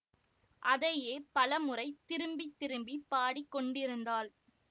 அதையே பலமுறை திருப்பி திருப்பி பாடிக் கொண்டிருந்தாள்